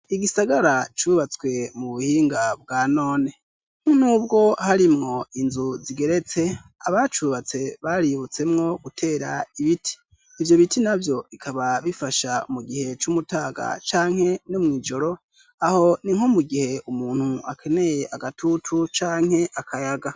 Igisagara cubatswe mu buhinga bwa none. Ni nk'ubwo harimwo inzu zigeretse, abacubatse baributsemwo gutera ibiti, ivyo biti navyo bikaba bifasha mu gihe c'umutaga canke no mw'ijoro, aho ni nko mu gihe umuntu akeneye agatutu canke akayaga.